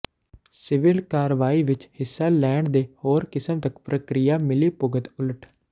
civil ਕਾਰਵਾਈ ਵਿਚ ਹਿੱਸਾ ਲੈਣ ਦੇ ਹੋਰ ਕਿਸਮ ਤੱਕ ਪ੍ਰਕ੍ਰਿਆ ਮਿਲੀਭੁਗਤ ਉਲਟ